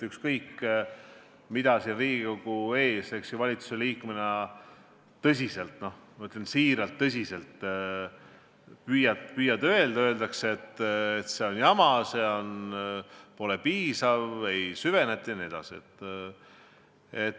Ükskõik, mida ma siin Riigikogu ees valitsuse liikmena tõsiselt – ma ütlen, siiralt tõsiselt – püüan öelda, ikka öeldakse, et see on jama, see pole piisav, ei süveneta jne.